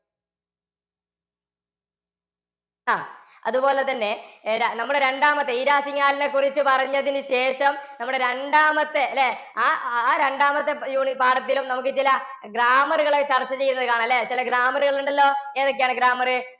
അതുപോലെതന്നെ ഇര~ നമ്മളെ രണ്ടാമത് ഈരാ സിഘാളിനെക്കുറിച്ചു പറഞ്ഞതിന് ശേഷം നമ്മടെ രണ്ടാമത്തെ ല്ലേ? ആ അഹ് രണ്ടാമത്തെ പ്~ യൂണി~ പാഠത്തിലും നമുക്കു ചില grammar കള് ചര്‍ച്ച ചെയ്യുന്നത് കാണാം ല്ലേ? ചെല grammar കളുണ്ടല്ലോ? എതൊക്ക്യാണ് grammar?